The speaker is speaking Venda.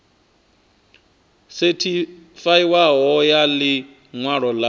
sethifaiwaho ya ḽi ṅwalo ḽa